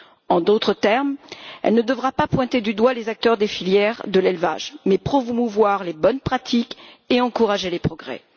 En d'autres termes, elle ne devra pas pointer du doigt les acteurs des filières de l'élevage mais promouvoir les bonnes pratiques et encourager les progrès.